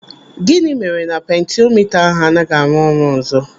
Gịnị mere na pentiomita ahụ anaghị arụ ọrụ ọzọ?